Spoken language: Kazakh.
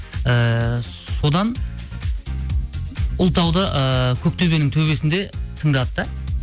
ііі содан ұлытауды ыыы көк төбенің төбесінде тыңдады да